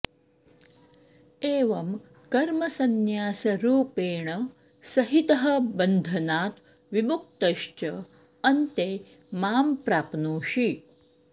एवं कर्मसन्न्यासरूपेण सहितः बन्धनात् विमुक्तश्च अन्ते मां प्राप्नोषि